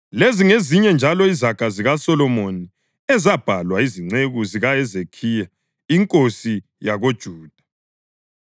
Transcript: Lezi ngezinye njalo izaga zikaSolomoni, ezabhalwa yizinceku zikaHezekhiya inkosi yakoJuda: